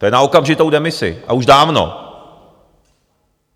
To je na okamžitou demisi, a už dávno.